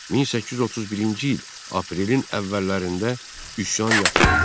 1831-ci il aprelin əvvəllərində üsyan yatırıldı.